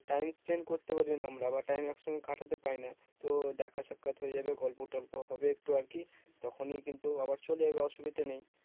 time spend করতে পারি না আমরা বা time একসঙ্গে কাটাতে পারি না। তো দেখ সাক্ষাৎ হয়ে যাবে গল্প টল্প হবে একটু আরকি। তখনই কিন্তু আবার চলে যাবে অসুবিধা নেই।